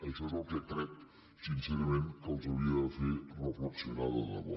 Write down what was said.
això és el que crec sincerament que els hauria de fer reflexionar de debò